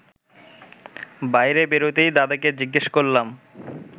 বাইরে বেরোতেই দাদাকে জিজ্ঞেস করলাম